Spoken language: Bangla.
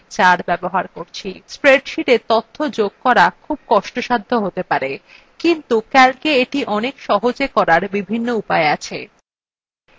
spreadsheeta তথ্য যোগ করা খুব কষ্টসাধ্য হতে পারে কিন্তু calca এটি অনেক সহজে করার বিভিন্ন উপায় আছে